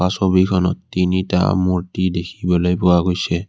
ছবিখনত তিনিটা মূৰ্ত্তি দেখিবলৈ পোৱা গৈছে।